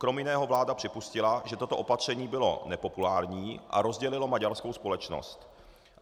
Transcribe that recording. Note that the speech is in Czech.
Krom jiného vláda připustila, že toto opatření bylo nepopulární a rozdělilo maďarskou společnost.